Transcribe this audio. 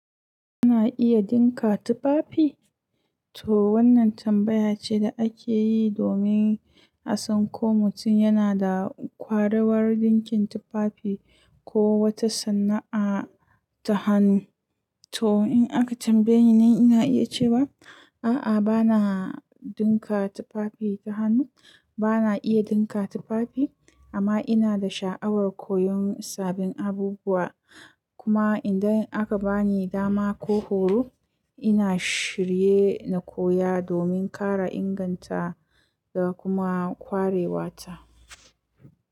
Ina iya dinka tufafi? To wannan tambaya ce da ake yi domin a san ko mutum yana da kwararar dinkin tufafi ko wata sana'a ta hannu. To in aka tambaye ni, ina iya cewa a'a bana dinka tufafi ta hannu. Bana iya dinka tufafi amma ina da sha'awar koyon sabbin abubuwa. Kuma idan aka bani dama ko horo, ina shirye na koya domin ƙara inganta da kuma kwarewa ta.